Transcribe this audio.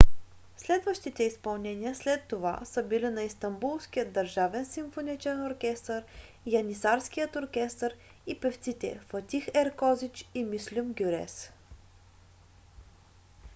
следващите изпълнения след това са били на истанбулският държавен симфоничен оркестър янисарският оркестър и певците фатих еркозич и мюслюм гюрес